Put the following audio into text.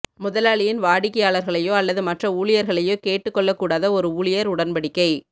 முதலாளியின் வாடிக்கையாளர்களையோ அல்லது மற்ற ஊழியர்களையோ கேட்டுக்கொள்ளக்கூடாத ஒரு ஊழியர் உடன்படிக்கை